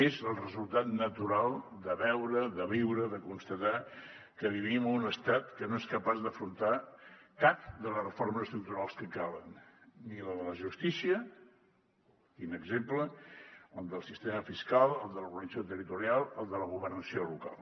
és el resultat natural de veure de viure de constatar que vivim en un estat que no és capaç d’afrontar cap de les reformes estructurals que calen ni la de la justícia quin exemple el del sistema fiscal el de l’organització territorial el de la governació local